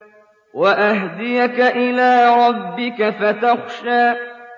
وَأَهْدِيَكَ إِلَىٰ رَبِّكَ فَتَخْشَىٰ